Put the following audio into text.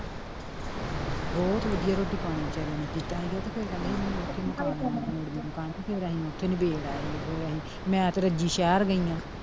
ਬਹੁਤ ਵਧੀਆ ਰੋਟੀ ਪਾਣੀ ਵਚਾਰਿਆਂ ਨੇ ਕੀਤਾ ਸੀਗਾ ਤੇ ਫਿਰ ਕਹਿੰਦੇ ਸੀਗੇ ਨਹੀਂ ਮੋੜਵੀਂ ਮਕਾਨ ਤੇ ਇਰ ਅਸੀਂ ਓਥੇ ਹੀ ਨਬੇੜ ਆਏ ਸੀ ਫਿਰ ਅਸੀਂ ਐਨ ਤੇ ਰੱਜੀ ਸ਼ਹਿਰ ਗਈਆਂ।